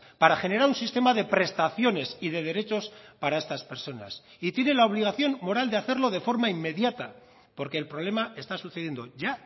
para generar un sistema de prestaciones y de derechos para estas personas y tiene la obligación moral de hacerlo de forma inmediata porque el problema está sucediendo ya